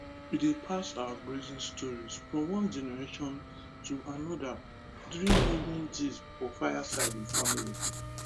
we dey pass our grazing stories from one generation to another during evening gist for fireside with family